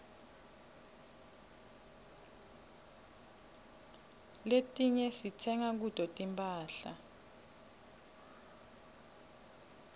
letiinye sitsenga kuto tinphahla